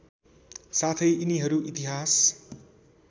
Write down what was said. साथै यिनीहरू इतिहास